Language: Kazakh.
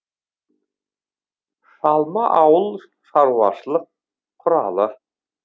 шалма ауыл шаруашылық құралы